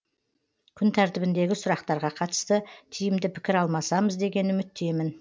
күн тәртібіндегі сұрақтарға қатысты тиімді пікір алмасамыз деген үміттемін